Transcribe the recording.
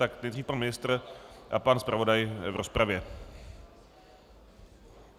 Tak nejdřív pan ministr a pan zpravodaj v rozpravě.